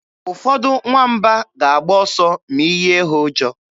Ụfọdụ nwamba ga-agba ọsọ ma ị yie ha ụjọ.